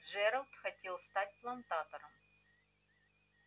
джералд хотел стать плантатором